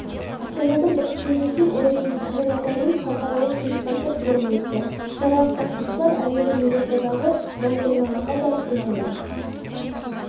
астанада бірлікпен жеткен ұлы жеңіс деген атаумен халықаралық жеңімпаздар форумы өтті шараға қатысушылар әуелі елордадағы мәңгілік алауға барып гүл қойды